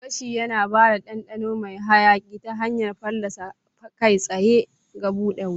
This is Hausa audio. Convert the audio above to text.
Gashi yana ba da ɗanɗano mai hayaƙi ta hanyar fallasa kai tsaye ga buɗe wuta.